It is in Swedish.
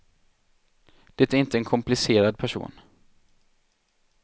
Detta är inte en komplicerad person.